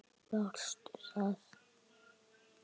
Varstu það?